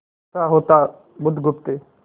अच्छा होता बुधगुप्त